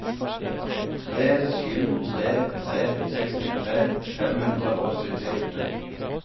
tre sju tre tre sekstitre fem hundre og syttiåtte